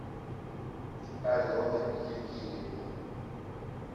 алены евгеньевны